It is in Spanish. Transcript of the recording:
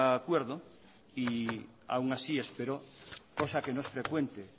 acuerdo y aún así espero cosa que no es frecuente